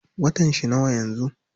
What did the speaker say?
Watan shi nawa yanzu?